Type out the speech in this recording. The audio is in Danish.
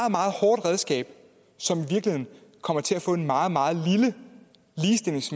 hårdt redskab som i virkeligheden kommer til at få en meget meget